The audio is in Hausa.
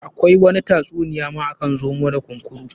Akwai wani ta tsuniya ma akan zomo da kunkuru.